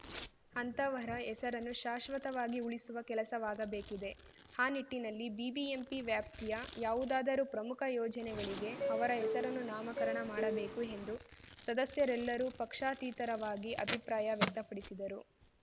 ಅಂತಹವರ ಹೆಸರನ್ನು ಶಾಶ್ವತವಾಗಿ ಉಳಿಸುವ ಕೆಲಸವಾಗಬೇಕಿದೆ ಆ ನಿಟ್ಟಿನಲ್ಲಿ ಬಿಬಿಎಂಪಿ ವ್ಯಾಪ್ತಿಯ ಯಾವುದಾದರೂ ಪ್ರಮುಖ ಯೋಜನೆಗಳಿಗೆ ಅವರ ಹೆಸರನ್ನು ನಾಮಕರಣ ಮಾಡಬೇಕು ಎಂದು ಸದಸ್ಯರೆಲ್ಲರೂ ಪಕ್ಷಾತೀತರವಾಗಿ ಅಭಿಪ್ರಾಯ ವ್ಯಕ್ತಪಡಿಸಿದರು